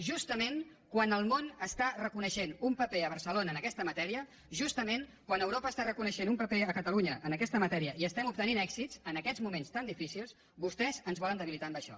justament quan el món està reconeixent un paper a barcelona en aquesta matèria justament quan europa està reconeixent un paper a catalunya en aquesta matèria i estem obtenint èxits en aquests moments tan difícils vostès ens volen debilitar amb això